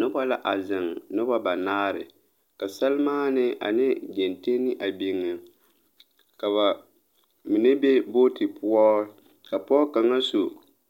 Nobɔ la a zeŋ nobɔ banaare ka salmaane ane geŋteŋne a biŋ ka ba mine be booti poɔ ka pɔɔ kaŋa su